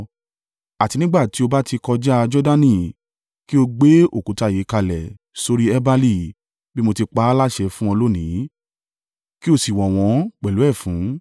Àti nígbà tí o bá ti kọjá a Jordani, kí o gbé òkúta yìí kalẹ̀ sórí i Ebali, bí mo ti pa à láṣẹ fún ọ lónìí, kí o sì wọ̀ wọ́n pẹ̀lú ẹfun.